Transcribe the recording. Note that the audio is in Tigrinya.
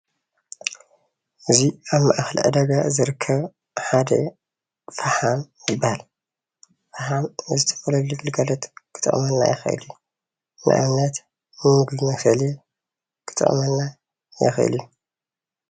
እዚ ኣብ ማእከል ዕዳጋ ዝርከብ ሓደ ፍሓም ይባሃል፡፡ ፍሓም ንዝተፈላለዩ ግልጋሎት ክጠቅመና ይክእል እዩ፡፡ ንኣብነት ንምግቢ መብሰሊ ክጠቅመና ይክእል እዩ፡፡